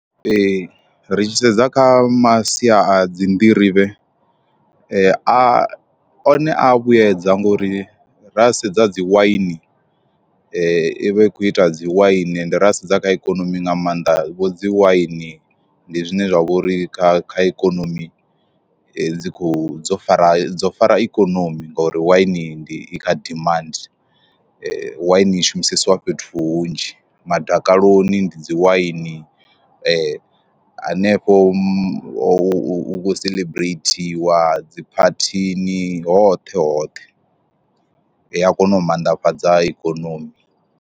Ee ri tshi sedza kha masia a dzi nḓirivhe a one a vhuyedza ngauri ra sedza dzi waini i vha i khou ita dzi waini ende ra sedza kha ikonomi nga maanḓa vho dzi waini ndi zwine zwa vhori kha kha ikonomi dzi kho dzo fara dzo fara ikonomi ngori waini ndi i kha dimandi, waini i shumisesiwa fhethu hunzhi madakaloni ndi dzi waini hanefho hu kho seḽebreithiwa dzi phathini hoṱhe hoṱhe, a kona u mannḓafhadza ikonomi.